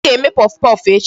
Anyị ga-eme puffpuff echi.